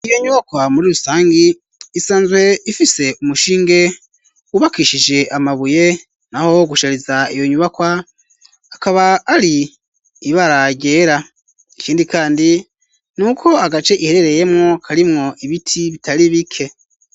Iyo nyubakwa muri rusangi isanzwe ifise umushinge wubakishije amabuye naho gushariza iyo nyubakwa akaba ari ibara ryera ikindi kandi nuko agace iherereyemwo karimwo ibiti bitari bike.